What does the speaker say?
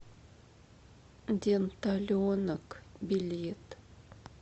денталенок билет